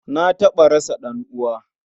Na taɓa rasa ɗan'uwa.